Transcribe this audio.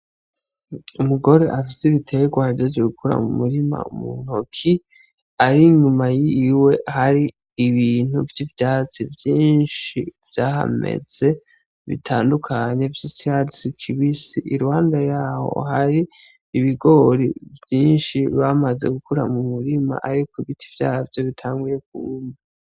Umugore afisi biteye guhajejwe gukura mu murima mu ntoki ari inyuma yiiwe hari ibintu vy'ivyatsi vyinshi vyahameze bitandukanye vy'isyasi kibisi iruhande yawo hari ibigori vyinshi bamaze gukura mu murima, ariko ibiti vyaha vyo bitanguye kumba.